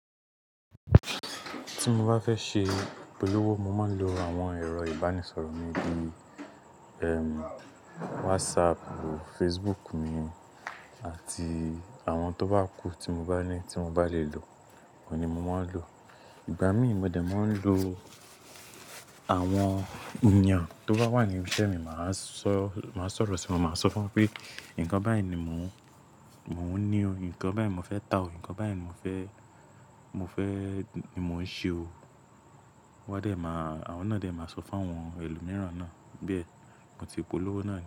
Tí mo bá fẹ́ ṣe polówó, mo máa ń lo àwọn ẹ̀rọ ìbánisọ̀rọ̀ mi bíi, ẹm, WhatsApp, Facebook mi àti àwọn tó bá kù tí mo bá ní tí mo bá lè lò, ko ni mo máa ń lò. Ìgbà míì mo de máa ń lo àwọn ènìyàn tó bá wà ní ibi iṣẹ́ mi, màá sọ, màá sọ̀rọ̀ sí wọn, màá sọ fún wọn pé ǹkan báyìí ni mò ń, mò ń ní o, ǹkan báyìí mo fẹ́ tà o, ǹkan báyìí mo fẹ́, mo fẹ́ ni mò ń ṣe o. Wọ́n a dé máa, àwọn náà dé máa sọ fún àwọn ẹlòmíràn náà. Bẹ́ẹ̀, mo ti polówó náà.